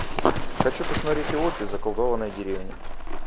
хочу посмотреть эвоки заколдованная деревня